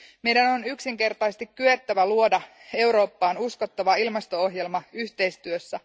Meidän on yksinkertaisesti kyettävä luomaan Eurooppaan uskottava ilmasto ohjelma yhteistyössä.